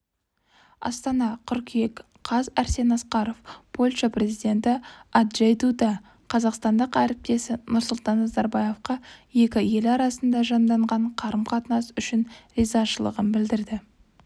астана қыркүйек қаз арсен асқаров польша президенті анджей дуда қазақстандық әріптесі нұрсұлтан назарбаевқа екі ел арасында жанданған қарым-қатынас үшін ризашылығын білдірді